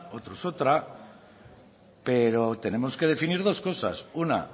otros otra pero tenemos que definir dos cosas una